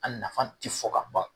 A nafa ti fɔ ka ban